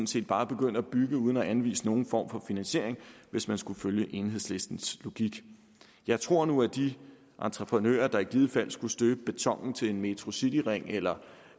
set bare begynde at bygge uden at anvise nogen form for finansiering hvis man skulle følge enhedslistens logik jeg tror nu at de entreprenører der i givet fald skulle støbe betonen til en metrocityring eller